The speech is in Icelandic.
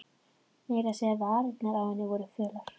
Meira að segja varirnar á henni voru fölar.